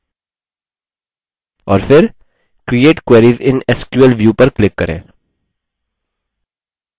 और फिर create query in sql view पर click करें